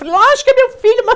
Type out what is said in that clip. Lógico que é meu filho,